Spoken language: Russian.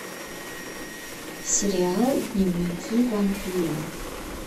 сериал дневники вампира